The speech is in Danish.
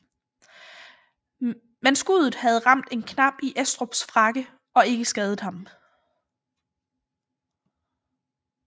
Men skuddet havde ramt en knap i Estrups frakke og ikke skadet ham